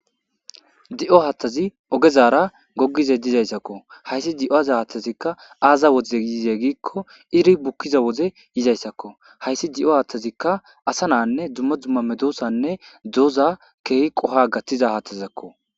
Di'oo hattazi oggezara gogishe dizzayisakko hayssa di'oo haththazi aza wodze iri bukkiza wodze yizayssakko hayissi di'oo haththezikka asa na'anne duma duma meddosanne dozza kehi qoha gaththiza haththezako.